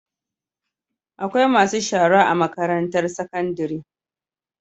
Akwai masu shara a makarantar sakandari